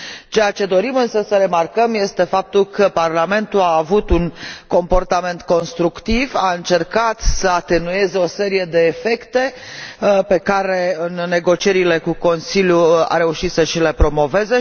Ceea ce dorim, însă, să remarcăm este faptul că Parlamentul a avut un comportament constructiv, a încercat să atenueze o serie de efecte pe care, în negocierile cu Consiliul, a reușit să le și promoveze.